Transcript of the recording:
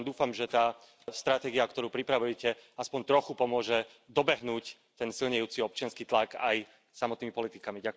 Tak ja len dúfam, že tá stratégia, ktorú pripravujete, aspoň trochu pomôže dobehnúť ten silnejúci občiansky tlak aj samotnými politikami.